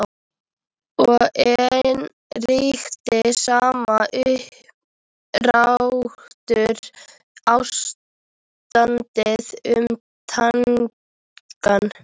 Og enn ríkti sama umsáturs- ástandið um Tangann.